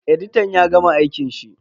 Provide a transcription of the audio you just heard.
Editan ya gama aikin shi?